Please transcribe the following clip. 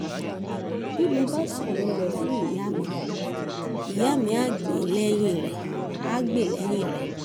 bí mo bá sọ̀rọ̀ rẹ̀ fún ìyá mi ìyá mi ah gbè lẹ́yìn rẹ̀